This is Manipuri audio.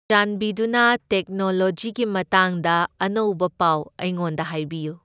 ꯆꯥꯟꯕꯤꯗꯨꯅ ꯇꯦꯛꯅꯣꯂꯣꯖꯤꯒꯤ ꯃꯇꯥꯡꯗ ꯑꯅꯧꯕ ꯄꯥꯎ ꯑꯩꯉꯣꯟꯗ ꯍꯥꯏꯕꯤꯌꯨ꯫